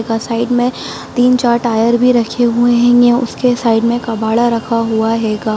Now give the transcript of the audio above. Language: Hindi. ओकरा साइड में तीन-चार टायर रखे होंगे उसके साइड में कबाड़ा रखा हुआ हैगा।